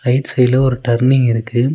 Right சைடுல ஒரு turning இருக்கு.